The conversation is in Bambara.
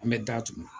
An bɛ datugu